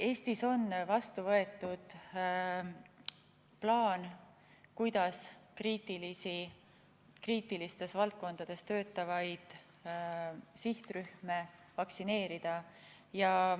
Eestis on vastu võetud plaan, kuidas kriitilistes valdkondades töötavaid sihtrühmi vaktsineerida.